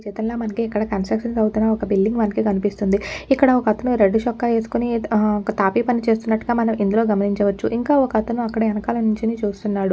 ఈచిత్రంలో మనకి ఇక్కడ కన్స్ట్రక్షన్ అవుతున్న ఒక్క బిల్డింగ్ మనకి కనిపిస్తుందిఇక్కడ ఒక్కతను రెడ్ చొక్కా వేసుకొని ఒక్క తాపిపని చేస్తున్నట్లుగా మనం ఇందులో గమనించవచ్చుఇంకా ఒక్కతను అక్కడ ఎనకాల నించోని చూస్తున్నాడు.